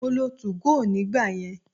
Mo lo 2go nígbà yẹn.